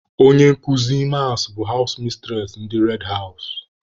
Onye nkụzi mas bụ hawụs mistures ndị red hawụs.